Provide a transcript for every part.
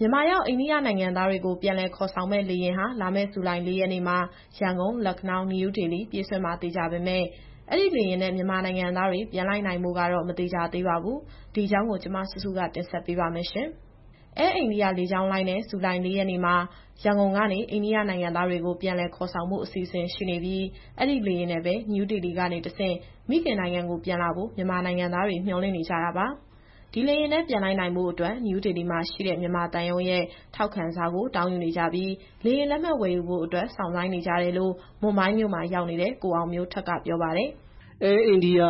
မြန်မာရောက် အိန္ဒိယနိုင်ငံသားတွေကို ပြန်လည်ခေါ်ဆောင်မယ့် လေယာဉ်ဟာ လာမယ့် ဇူလိုင်လ ၄ ရက်နေ့မှာ ရန်ကုန်-လခ်နောင်း-နယူးဒေလီ ပြေးဆွဲမှာသေချာပေမဲ့ အဲဒီလေယာဉ်နဲ့ မြန်မာနိုင်ငံသားတွေ ပြန်လိုက်နိုင်ဖို့ကတော့ မသေချာသေးပါဘူး။ ဒီအကြောင်းကို ဗွီအိုအေမြန်မာပိုင်း သတင်းထောက်စုစုက တင်ဆက်ပေးမှာပါ။ Air India လေကြောင်းလိုင်းနဲ့ ဇူလိုင် ၄ ရက်နေ့မှာ ရန်ကုန်ကနေ အိန္ဒိယနိုင်ငံသားတွေကို ပြန်လည်ခေါ်ဆောင်ဖို့ အစီအစဉ်ရှိနေပြီး အဲဒီလေယာဉ်နဲ့ပဲ နယူးဒေလီကနေတဆင့် မိခင်နိုင်ငံကိုပြန်လာဖို့ မြန်မာနိုင်ငံသားတွေ မျှော်လင့်နေကြတာပါ။ ဒီလေယာဉ်နဲ့ ပြန်လိုက်နိုင်ဖို့အတွက် နယူးဒေလီမှာရှိတဲ့ မြန်မာသံရုံးရဲ့ ထောက်ခံစာကို တောင်းယူနေကြပြီး လေယာဉ်လက်မှတ်ဝယ်ဖို့အတွက် စောင့်ဆိုင်းနေကြတယ်လို့ မွမ်ဘိုင်းမြို့မှာ ရောက်နေတဲ့ ကိုအောင်မျိုးထက်က ပြောပါတယ်။ “Air India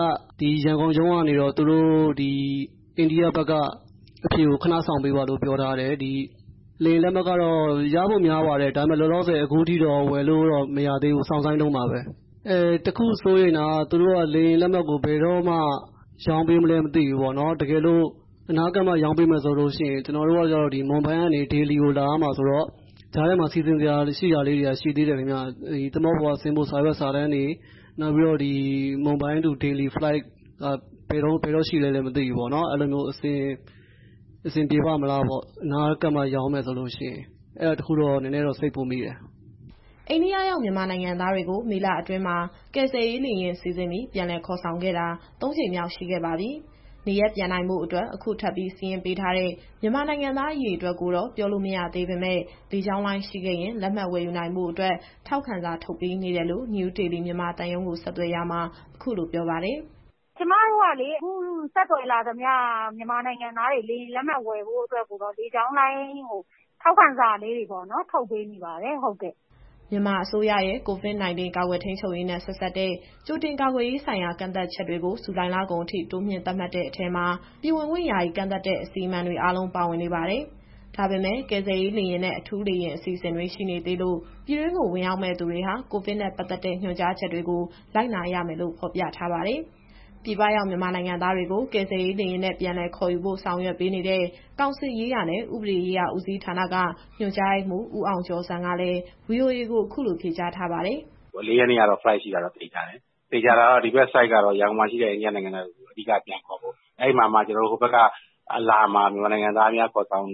ရန်ကုန်ရုံးကတော့ အိန္ဒိယဘက်ကအဖြေကို ခဏစောင့်ပေးပါလို့ ပြောတယ်။ လေယာဉ်လက်မှတ်ကတော့ ရဖို့များပါတယ်။ ဒါပေမဲ့ လောလောဆယ်အခုထိတော့ ဝယ်လို့မရသေးဘူး။ စောင့်ဆိုင်းတုန်းပါပဲ။ တခု စိုးရိမ်တာက သူတို့က လေယာဉ်လက်မှတ်ကို ဘယ်တော့မှ ရောင်းပေးမလဲ မသိဘူးပေါ့နော်။ တကယ်လို့ အနားကပ်မှ ရောင်းပေးမယ်ဆိုရင် ကျနော်တို့က မွမ်ဘိုင်းကနေ ဒေလီကို လာရမှာဆိုတော့ ကြားထဲမှာ စီစဉ်စရာလေးတွေက ရှိတယ်ခင်ဗျ။ သင်္ဘောပေါ်က ဆင်းဖို့ စာရွက်စာတမ်းတွေ မွမ်ဘိုင်းကနေ ဒေလီလေကြောင်းက ဘယ်တော့ရှိမလဲ မသိဘူးပေါ့နော်။ အဆင်ပြေပါ့မလားပေါ့ အနားကပ်မှရောင်းမယ်ဆိုရင်။ အဲဒါတခုတော့ နည်းနည်းစိတ်ပူမိတယ်။” အိန္ဒိယရောက် မြန်မာနိုင်ငံသားတွေကို မေလအတွင်းမှာ ကယ်ဆယ်ရေးလေယာဉ်စီစဉ်ပြီး ပြန်လည်ခေါ်ဆောင်ခဲ့တာ သုံးကြိမ်ရှိခဲ့ပါပြီ။ နေရပ်ပြန်နိုင်ဖို့အတွက် အခုထပ်ပြီးစာရင်းပေးထားတဲ့ မြန်မာနိုင်ငံသား အရေအတွက်ကိုတော့ ပြောလို့မရသေးပေမဲ့ လေကြောင်းလိုင်းရှိခဲ့ရင် လက်မှတ်ဝယ်ယူနိုင်ဖို့အတွက် ထောက်ခံစာ ထုတ်ပေးနေတယ်လို့ နယူးဒေလီ၊ မြန်မာသံရုံးကို ဆက်သွယ်ရာမှာ အခုလိုပြောပါတယ်။ “ကျမတို့ကလေ အခုဆက်သွယ်လာသမျှ မြန်မာနိုင်ငံသားတွေ လေယာဉ်လက်မှတ်ဝယ်ဖို့အတွက်ကိုတော့ လေကြောင်းလိုင်းကို ထောက်ခံစာတွေ ထုတ်ပေးနေပါတယ်။” မြန်မာအစိုးရရဲ့ COVID - 19 ကာကွယ်ထိန်းချုပ်ရေးနဲ့ ဆက်စပ်တဲ့ ကြိုတင်ကာကွယ်ရေးဆိုင်ရာ ကန့်သတ်ချက်တွေကို ဇူလိုင်လကုန်ထိ တိုးမြှင့်သတ်မှတ်တဲ့အထဲမှာ ပြည်ဝင်ခွင့်ယာယီကန့်သတ်တဲ့ အစီအမံတွေအားလုံး ပါဝင်နေပါတယ်။ ဒါပေမဲ့ ကယ်ဆယ်ရေးလေယာဉ်နဲ့ အထူးလေယာဉ်အစီအစဉ်တွေ ရှိနေသေးလို့ ပြည်တွင်းကို ဝင်ရောက်မယ့်သူတွေဟာ ကိုဗစ်နဲ့ ပတ်သက်တဲ့ညွှန်ကြားချက်တွေကို လိုက်နာရမယ်လို့ ဖော်ပြထားပါတယ်။ ပြည်ပရောက်မြန်မာနိုင်ငံသားတွေကို ကယ်ဆယ်ရေးလေယာဉ်နဲ့ ပြန်လည်ခေါ်ယူဖို့ ဆောင်ရွက်ပေးနေတဲ့ ကောင်စစ်ရေးရာနဲ့ ဥပဒေရေးရာဦးစီးဌာနက ညွှန်ကြားရေးမှူး ဦးအောင်ကျော်ဇံကလည်း VOA ကို အခုလိုဖြေကြားထားပါတယ်။ “၄ ရက်နေ့ကတော့ Flight ရှိတာတော့ သေချာတယ်။ သေချာတာကတော့ ဒီဘက်က Flight ကတော့ ရန်ကုန်မှာ ရှိတဲ့ အိန္ဒိယနိုင်ငံသားတွေကို အဓိကပြန်ခေါ်ဖို့။ အဲဒီမှာမှ ဟိုဘက်ကအလာမှာ မြန်မာနိုင်ငံသားများ ခေါ်ဆောင်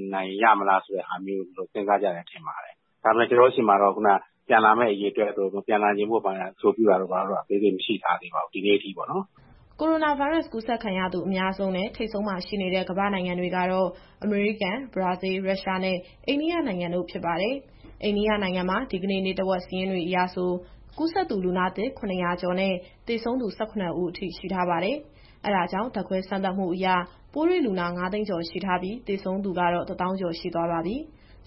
ရမလားဆိုတာမျိုး သူတို့ စဉ်းစားကြတယ်ထင်ပါတယ်။ ဒါပေမဲ့ ကျနော်တို့ဆီမှာတော့ ပြန်လာမယ့်အရေအတွက်တို့၊ ပြန်လာဖို့ရာအဆိုပြုတာကတော့ အသေးစိတ် မရှိထားသေးပါဘူး။ ဒီနေ့အထိပေါ့နော်။” ကိုရိုနာဗိုင်းရပ်စ် ကူးစက်ခံရသူအများဆုံးနဲ့ ထိပ်ဆုံးမှာရှိနေတဲ့ ကမ္ဘာ့နိုင်ငံတွေကတော့ အမေရိကန်၊ ဘရာဇီး၊ ရုရှားနဲ့ အိန္ဒိယနိုင်ငံ ဖြစ်ပါတယ်။ အိန္ဒိယနိုင်ငံမှာ ဒီကနေ့ နေ့တဝက်စာရင်းတွေအရဆို ကူးစက်သူ လူနာသစ် ၇၀၀ ကျော်နဲ့ သေဆုံးသူ ၁၇ ဦး အထိရှိထားပါတယ်။ အဲဒါကြောင့် ဓာတ်ခွဲစမ်းသပ်မှုအရ ပိုးတွေ့လူနာ ၅၀၀,၀၀၀ ကျော်ရှိထားပြီး၊ သေဆုံးသူကတော့ ၁၀,၀၀၀ ကျော်ရှိသွားပါပြီ။